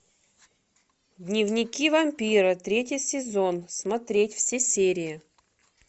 дневники вампира третий сезон смотреть все серии